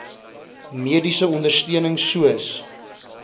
mediese ondersteuning soos